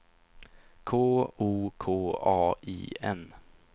K O K A I N